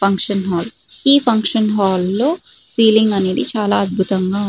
function hall ఈ function hall లో ceiling అనేది చాలా అద్భుతంగా ఉ --